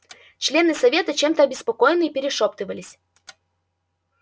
члены совета чем-то обеспокоенные перешёптывались